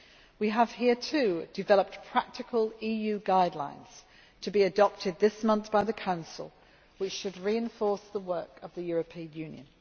Here too, we have developed practical EU guidelines to be adopted this month by the Council, which should reinforce the work of the European Union.